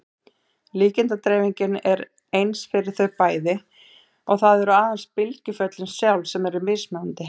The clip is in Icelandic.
Líkindadreifingin er eins fyrir þau bæði og það eru aðeins bylgjuföllin sjálf sem eru mismunandi.